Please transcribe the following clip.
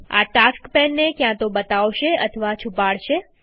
આ ટાસ્ક પેનને ક્યાંતો બતાવશે અથવા છુપાડશે